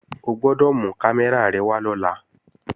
O gbọ́dọ̀ mú kámẹ́rà rẹ wá lọ́la!